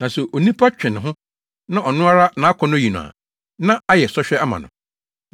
Na sɛ onipa twe ne ho na ɔno ara nʼakɔnnɔ yi no a, na ayɛ sɔhwɛ ama no.